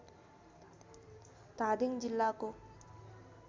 धादिङ जिल्लाको